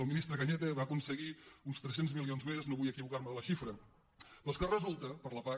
el ministre cañete va aconseguir uns tres cents milions més no vull equivocar me de la xifra per a la pac